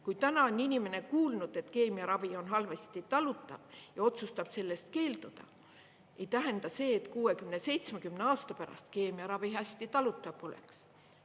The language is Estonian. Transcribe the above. Kui täna on inimene kuulnud, et keemiaravi on halvasti talutav ja otsustab sellest keelduda, ei tähenda see, et 60–70 aasta pärast keemiaravi hästi talutav poleks.